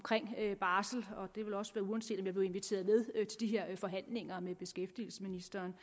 barsel og det også være uanset om jeg blev inviteret de her forhandlinger med beskæftigelsesministeren